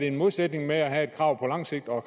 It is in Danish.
en modsætning i at have et krav på lang sigt og